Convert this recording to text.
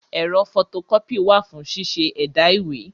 Ẹ̀rọ fọto kọ́pì wà fún ṣíṣẹ́ ẹ̀dà ìwé.